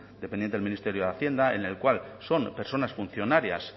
dependiente del ministerio de hacienda en el cual son personas funcionarias